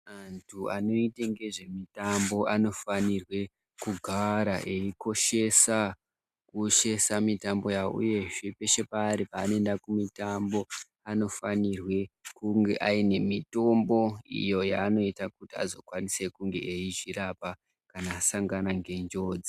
Anhu anoita ngezvemitambo anofanirwe kugara eyikoshesa mitambo yawo uyezve peshe paari paanoenda kumitambo anofanirwe kunge aine mitombo iyo yaanoita kuti azokwanise kunge eizvirapa kana asangane ngenjodzi .